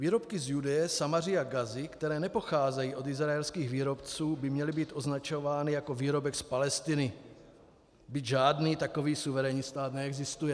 Výrobky z Judeje, Samaří a Gazy, které nepocházejí od izraelských výrobců, by měly být označovány jako výrobek z Palestiny, byť žádný takový suverénní stát neexistuje.